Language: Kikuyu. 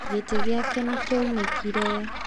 Gĩtĩ gĩake nĩ kĩaunĩkire.